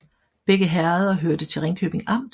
Begge herreder hørte til Ringkøbing Amt